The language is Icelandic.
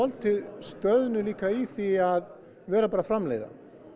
stöðnuð í því að vera bara að framleiða